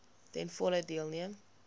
ten volle deelneem